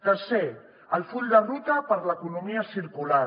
tercer el full de ruta per a l’economia circular